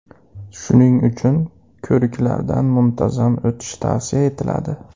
Shuning uchun ko‘riklardan muntazam o‘tish tavsiya etiladi.